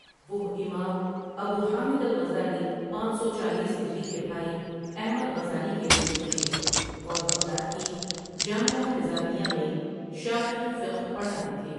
وہ اِمام Abu Hamid al Ghazali پانچ سو چالیس ہجری کے بھائی احمد غزالی کے مرید تھے اور بغداد کی جامعہ نظامیہ میں شافعی فقہ پڑھاتے تھے ۔